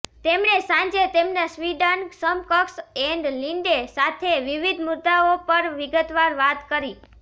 તેમણે સાંજે તેમના સ્વીડન સમકક્ષ એન લિન્ડે સાથે વિવિધ મુદ્દાઓ પર વિગતવાર વાત કરી